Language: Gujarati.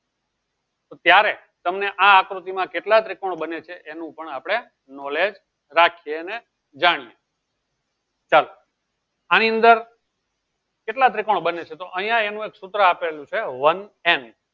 તો ત્યારે તમને આ આકૃતિ માં કેટલા ત્રિકોણ બને છે એનું પણ knowledge આપળે રાખીએ અને ચાલો આની અંદર કેટલા ત્રિકોણ બને છે તો આયી એનું એક સુત્ર આપેલું છે તો વન n